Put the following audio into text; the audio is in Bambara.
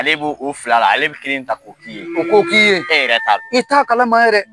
Ale b'o o fila la ale bɛ kelen ta k'o k'i ye, k'o k'i ye, i ta kalama yɛrɛ.